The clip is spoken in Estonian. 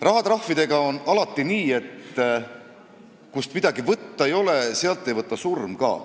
Rahatrahvidega on aga alati nii, et kust midagi võtta ei ole, sealt ei võta surm ka.